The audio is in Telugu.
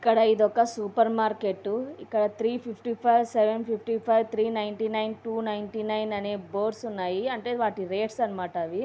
ఇక్కడ ఇదొక సూపర్ మార్కెట్టు ఇక్కడ three fifty five seven fifty five three ninety nine two ninety nine అనే బోర్డ్స్ ఉన్నాయి. అంటే వాటి రేట్స్ అన్నమాట అవి.